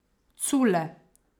Cule!